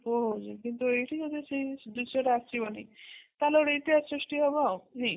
କିନ୍ତୁ ଏଇଠି ଯଦି ସେ ଦୃଶ୍ୟ ଟା ଆସିବନି ତାହେଲେ ଗୋଟେ ଇତିହାସ ନାଇଁ